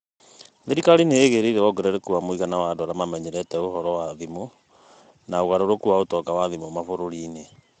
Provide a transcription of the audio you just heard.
Thirikari nĩ ĩĩgĩrĩire wongerereku wa mũigana wa andũ arĩa mamenyerete ũhoro wa thimũ, na ũgarũrũku wa ũtonga wa thimũ mabũrũri-inĩ.